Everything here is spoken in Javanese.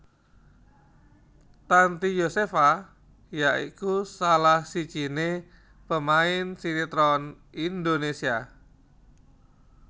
Tanty Yosepha ya iku salah sijiné pemain sinétron Indonésia